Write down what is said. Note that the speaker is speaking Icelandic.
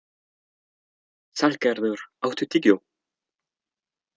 Salgerður, áttu tyggjó?